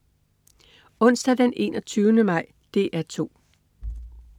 Onsdag den 21. maj - DR 2: